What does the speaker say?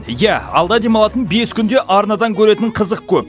иә алда демалатын бес күнде арнадан көретін қызық көп